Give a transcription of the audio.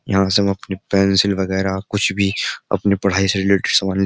यहां से हम अपनी पेंसिल वगैरह कुछ भी अपनी पढ़ाई से रिलेटेड सवाल --